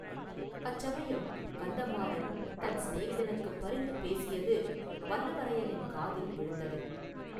அச்சமயம் கந்தமாறன் தன் சிநேகிதனுக்குப் பரிந்து பேசியது வல்லவரையனின் காதில் விழுந்தது.